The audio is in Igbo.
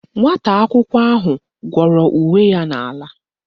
Nwata akwụkwọ ahụ gwọrọ uwe ya n'ala